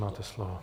Máte slovo.